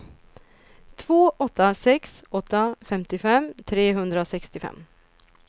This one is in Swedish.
två åtta sex åtta femtiofem trehundrasextiofem